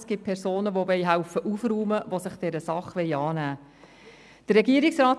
Es gibt Personen, die aufräumen helfen und sich dieser Sache annehmen wollen.